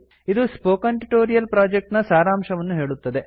ಇದು spoken tutorial project ನ ಸಾರಾಂಶವನ್ನು ಹೇಳುತ್ತದೆ